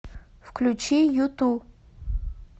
включи юту